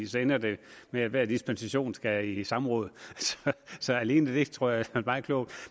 så ender det med at hver dispensation skal i samråd så alene det tror jeg er meget klogt